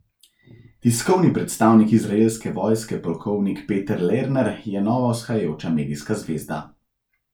Tiskovni predstavnik izraelske vojske polkovnik Peter Lerner je nova vzhajajoča medijska zvezda.